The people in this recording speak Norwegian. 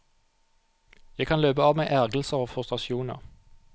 Jeg kan løpe av meg ergrelser og frustrasjoner.